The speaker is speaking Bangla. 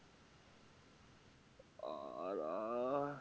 আর আহ